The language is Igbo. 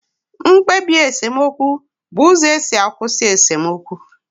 Mkpebi esemokwu bụ uzo esi akwụsị esemokwu